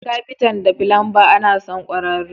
Da kafitan da filanba ana son kwararru.